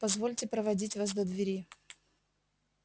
позвольте проводить вас до двери